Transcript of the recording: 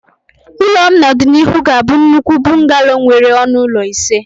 Ụlọ m n'ọdịnihu ga-abụ nnukwu bungalow nwere ọnụ ụlọ ise